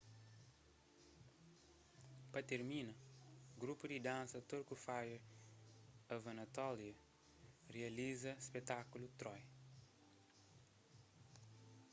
pa tirmina grupu di dansa turku fire of anatolia rializa spekutákulu troy